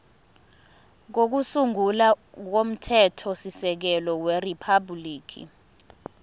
kokusungula komthethosisekelo weriphabhuliki